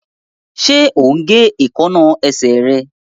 Ṣe o ń gé Èékánná esè rẹ?